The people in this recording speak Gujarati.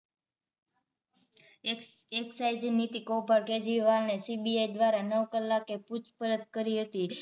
એક્સ એકસાઇસી નીતી કૌભાંડ કેજરીવાલને CBI દ્વારા નવ કલાકે પૂછપરછ કરી હતી